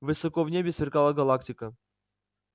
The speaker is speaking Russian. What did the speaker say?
высоко в небе сверкала галактика